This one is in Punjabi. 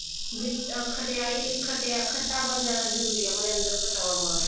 ਵੀ ਖਟਿਆਈ ਖੱਟਾ ਪਨ ਜਿਆਦਾ ਜਰੂਰੀ ਏ ਆਪਣੇ ਅੰਦਰ ਪਚਾਉਣ ਵਾਸਤੇ